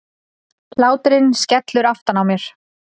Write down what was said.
Hláturinn skellur aftan á mér.